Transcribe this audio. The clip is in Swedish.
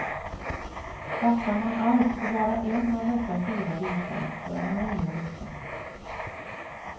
Satsar man allt på bara en av dessa fyra bitar, då är man illa ute.